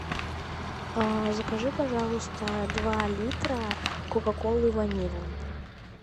закажи пожалуйста два литра кока колы ванилы